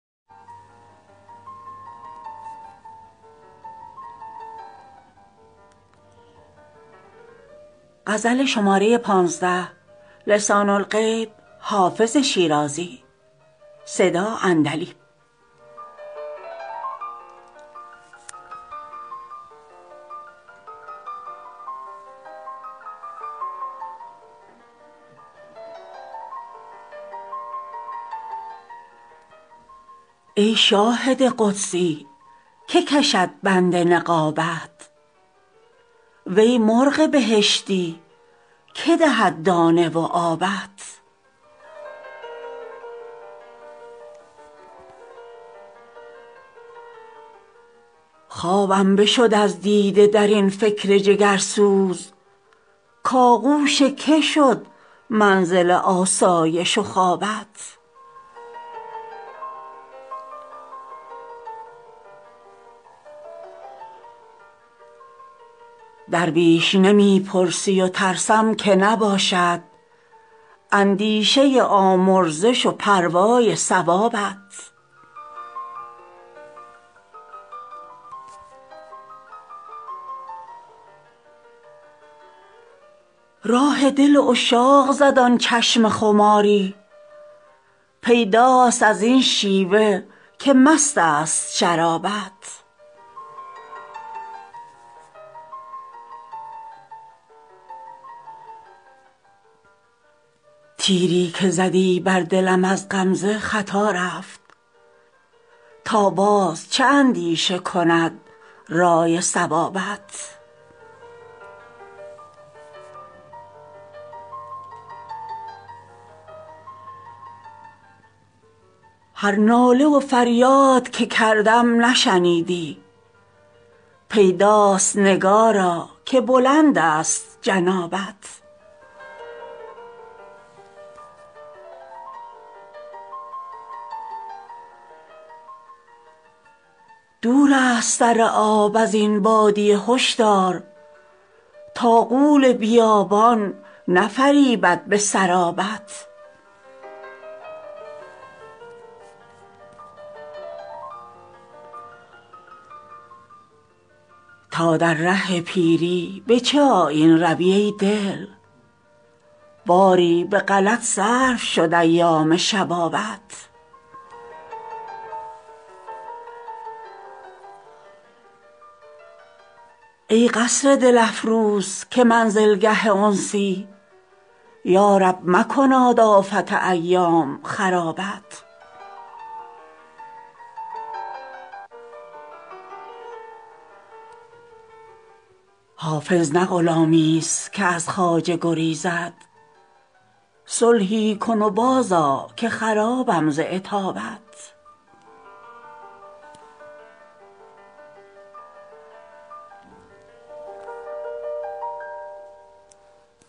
ای شاهد قدسی که کشد بند نقابت وی مرغ بهشتی که دهد دانه و آبت خوابم بشد از دیده در این فکر جگرسوز کآغوش که شد منزل آسایش و خوابت درویش نمی پرسی و ترسم که نباشد اندیشه آمرزش و پروای ثوابت راه دل عشاق زد آن چشم خماری پیداست از این شیوه که مست است شرابت تیری که زدی بر دلم از غمزه خطا رفت تا باز چه اندیشه کند رأی صوابت هر ناله و فریاد که کردم نشنیدی پیداست نگارا که بلند است جنابت دور است سر آب از این بادیه هشدار تا غول بیابان نفریبد به سرابت تا در ره پیری به چه آیین روی ای دل باری به غلط صرف شد ایام شبابت ای قصر دل افروز که منزلگه انسی یا رب مکناد آفت ایام خرابت حافظ نه غلامیست که از خواجه گریزد صلحی کن و بازآ که خرابم ز عتابت